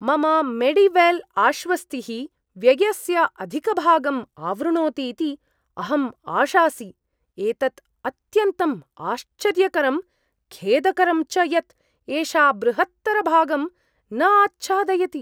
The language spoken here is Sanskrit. मम मेडीवेल् आश्वस्तिः व्ययस्य अधिकभागम् आवृणोतीति अहम् आशासि, एतत् अत्यन्तं आश्चर्यकरं खेदकरं च यत् एषा बृहत्तरभागं न आच्छादयति।